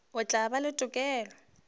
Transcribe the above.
o tla ba le tokelo